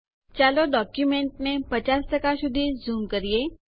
ચાલો ડોક્યુંમેન્ટને 50 સુધી ઝૂમ કરીએ